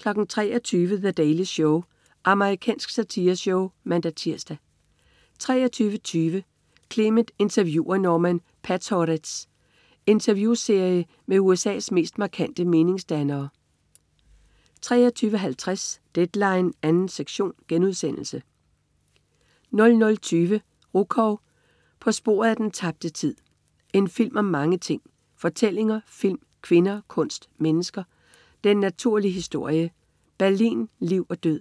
23.00 The Daily Show. Amerikansk satireshow (man-tirs) 23.20 Clement interviewer Norman Podhoretz. Interviewserie med USA's mest markante meningsdannere 23.50 Deadline 2. sektion* 00.20 Rukov. På sporet af den tabte tid. En film om mange ting; Fortællinger, film, kvinder, kunst, mennesker, "den naturlige historie", Berlin, liv og død.